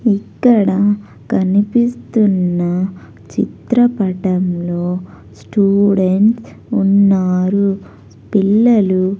ఇక్కడ కనిపిస్తున్న చిత్రపటంలో స్టూడెంట్స్ ఉన్నారు పిల్లలు.